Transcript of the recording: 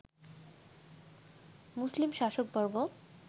মুসলিম শাসকবর্গ